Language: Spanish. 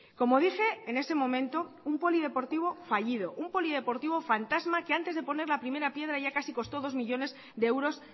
como dije en ese momento un polideportivo fallido un polideportivo fantasma que antes de poner la primera piedra ya casi costó dos millónes de euros